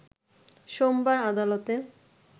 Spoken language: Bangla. সোমবার আদালতে